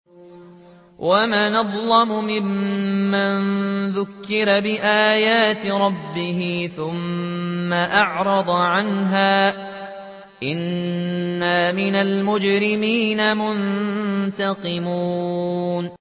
وَمَنْ أَظْلَمُ مِمَّن ذُكِّرَ بِآيَاتِ رَبِّهِ ثُمَّ أَعْرَضَ عَنْهَا ۚ إِنَّا مِنَ الْمُجْرِمِينَ مُنتَقِمُونَ